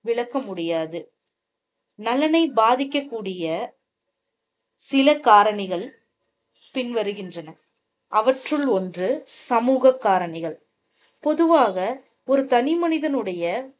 விளக்க முடியாது. நலனை பாதிக்க கூடிய சில காரணிகள் பின் வருகின்றன. அவற்றுள் ஒன்று சமூகக் காரணிகள். பொதுவாக ஒரு தனி மனிதனுடைய